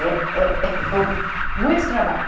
É é é muito trabalho.